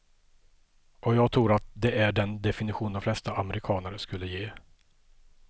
Och jag tror att det är den definition de flesta amerikanare skulle ge.